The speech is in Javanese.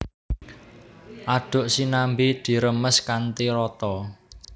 Aduk sinambi diremes kanthi rata